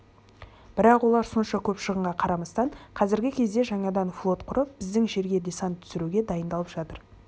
бірақ олар сонша көп шығынға қарамастан қазірде жаңадан флот құрып біздің жерге десант түсіруге дайындалып жатыр